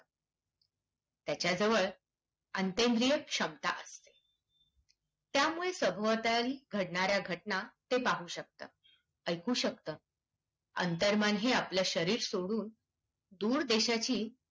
त्याच्या जवळ अंतेंद्रिय क्षमता असते. त्यामुळेच सभोवताली घडणाऱ्या घटना ते पाहू शकते, ऐकू शकते, अंतर्मन हे आपलं शरीर सोडून दूर देशाची